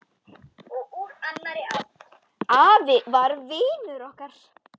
Afi var vinur okkar.